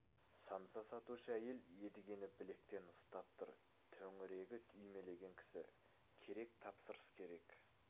самса сатушы әйел едігені білектен ұстап тұр төңірегі үймелеген кісі керек тапсырыс керек